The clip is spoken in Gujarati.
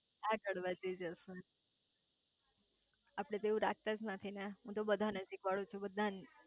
આગળ વધી જશે આપડે તો એવું રાખતાંજ નથી ને હું તો બધા ને શીખવાડું છુ